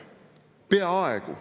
Peaaegu.